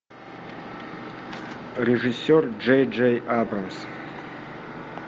режиссер джей джей абрамс